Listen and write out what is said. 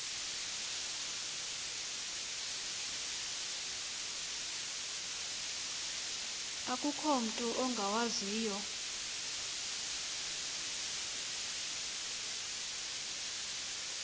akukho mutu ungawaziyo